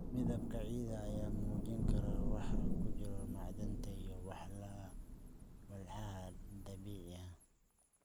Midabka ciidda ayaa muujin kara waxa ku jira macdanta iyo walxaha dabiiciga ah.